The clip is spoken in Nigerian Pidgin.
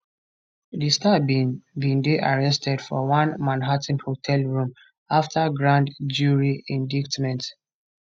di star bin bin dey arrested for one manhattan hotel room afta grand jury indictment